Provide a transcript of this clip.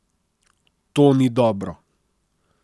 To ni dobro.